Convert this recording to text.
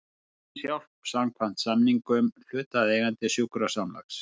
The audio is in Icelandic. Læknishjálp samkvæmt samningum hlutaðeigandi sjúkrasamlags.